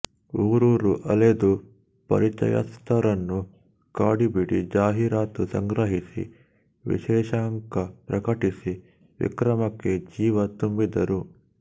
ಊರೂರು ಅಲೆದು ಪರಿಚಯಸ್ಥರನ್ನು ಕಾಡಿಬೇಡಿ ಜಾಹೀರಾತು ಸಂಗ್ರಹಿಸಿ ವಿಶೇಷಾಂಕ ಪ್ರಕಟಿಸಿ ವಿಕ್ರಮಕ್ಕೆ ಜೀವ ತುಂಬಿದರು